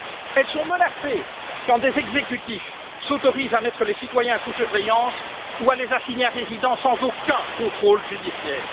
Elles sont menacées quand des exécutifs s'autorisent à mettre les citoyens sous surveillance ou à les assigner à résidence, sans aucun contrôle judiciaire.